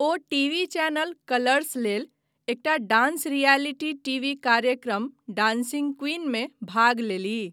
ओ TV channel Colors लेल एकटा dance reality TV कार्यक्रम डांसिंग क्वीनमे भाग लेलीह।